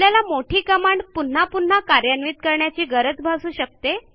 आपल्याला मोठी कमांड परत परत कार्यान्वित करण्याची गरज भासू शकते